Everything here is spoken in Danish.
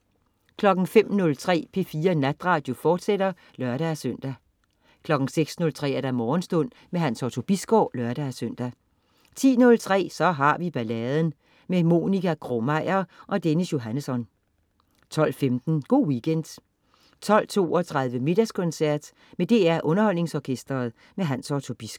05.03 P4 Natradio, fortsat (lør-søn) 06.03 Morgenstund. Hans Otto Bisgaard (lør-søn) 10.03 Så har vi balladen. Monica Krog-Meyer og Dennis Johannesson 12.15 Go' Weekend 12.32 Middagskoncert. Med DR Underholdningsorkestret. Hans Otto Bisgaard